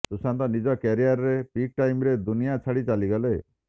ସୁଶାନ୍ତ ନିଜ କ୍ୟାରିଅରର peak time ରେ ଦୁନିଆ ଛାଡି ଚାଲିଗଲେ